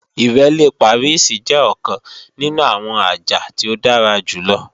Ìrẹ́lé Pàríìsì jẹ́ ọ̀kan nínú àwọn àjà tí ó dára jù lọ